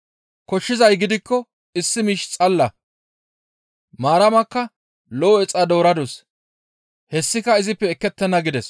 Koshshizay gidikko issi miish xalla; Maaramakka lo7o exa dooradus; hessika izippe ekettenna» gides.